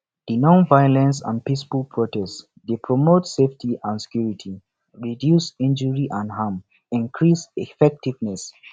di nonviolence and peaceful protest dey promote safety and security reduce injury and harm and increase effectiveness